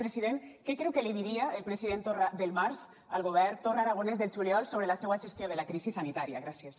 president què creu que li diria el president torra del març al govern torra aragonès del juliol sobre la seua gestió de la crisi sanitària gràcies